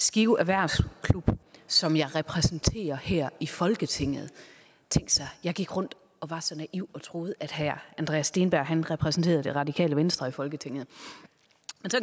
skive erhvervsklub som jeg repræsenterer her i folketinget tænk sig jeg gik rundt og var så naiv at tro at herre andreas steenberg repræsenterede det radikale venstre i folketinget